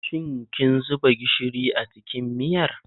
Shin kin zuba gishiri a cikin miyar?